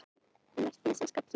Merki íslenskra Pírata.